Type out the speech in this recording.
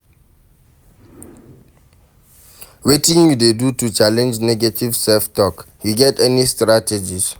Wetin you dey do to challenge negative self-talk, you get any strategies?